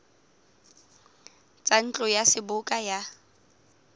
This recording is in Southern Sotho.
tsa ntlo ya seboka ya